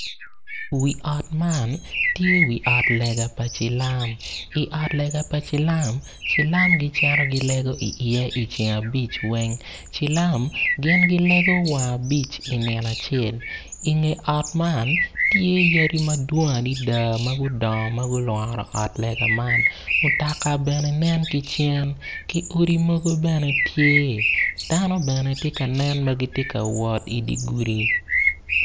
Wi ot man tye wi ot lega pa cilam i ot lega pa cilam cilam gicito gilego iye i ceng abic weng. Cilam gin gilego wang abic i nino acel i nge ot man tye yadi madwong adada ma olworo ot lega man mutoka bene nen ki cen ki mutoka bene tye dano bene gitye ka nen ma gitye ka wot i dye gudi.